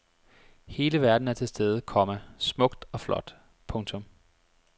Hele verden er til stede, komma smukt og flot. punktum